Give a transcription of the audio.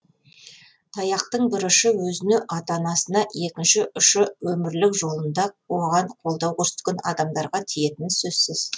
таяқтың бір ұшы өзіне ата анасына екінші ұшы өмірлік жолында оған қолдау көрсеткен адамдарға тиетіні сөзсіз